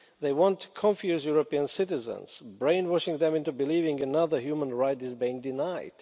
They want to confuse European citizens, brainwashing them into believing another human right is being denied.